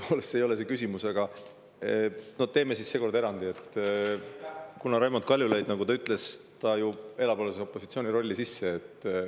Tõepoolest, see ei ole see küsimus, aga teeme siis seekord erandi, kuna Raimond Kaljulaid, nagu ta ütles, alles elab ju opositsiooni rolli sisse.